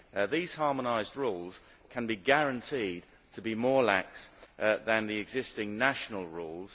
These harmonised rules can be guaranteed to be more lax than the existing national rules.